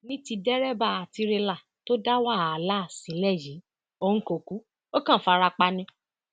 ní ti dẹrẹbà tirẹlà tó dá wàláhà sílẹ yìí òun kò kú ó kàn fara pa ni